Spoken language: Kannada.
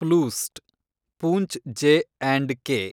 ಪ್ಲೂಸ್ಟ್ , ಪೂಂಚ್ ಜೆ ಆಂಡ್‌ ಕೆ